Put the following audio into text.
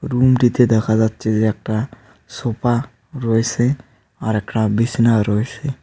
Room -টিতে দেখা যাচ্ছে যে একটা সোফা রয়েসে আরেকটা বিসনা রয়েসে।